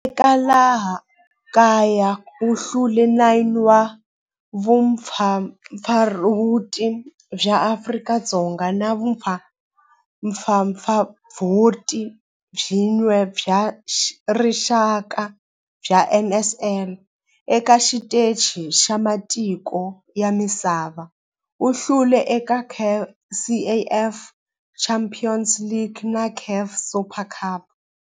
Eka laha kaya u hlule 9 wa vumpfampfarhuti bya Afrika-Dzonga na vumpfampfarhuti byin'we bya rixaka bya NSL. Eka xiteji xa matiko ya misava, u hlule eka CAF Champions League na CAF Super Cup.